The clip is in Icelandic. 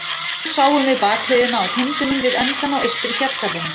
Og nú sáum við bakhliðina á tindinum við endann á eystri fjallgarðinum.